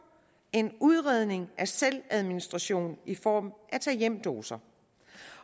en udredning af selvadministration i form af tag hjem doser